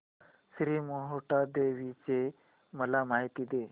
श्री मोहटादेवी ची मला माहिती दे